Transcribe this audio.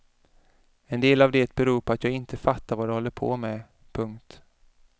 En del av det beror på att jag inte fattar vad de håller på med. punkt